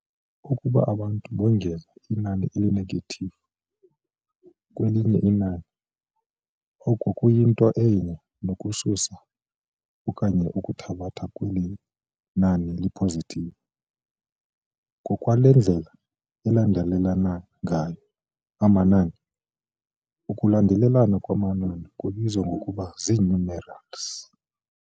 Ukuba abantu bongeza inani eli-negative kwelinye inani, oko kuyinto enye nokususa okanye ukuthabatha kweli nani li-positive ngokwale ndlela alandelelana ngayo amanani, ukulandelelana kwamanani kubizwa ngokuba zii-numerals.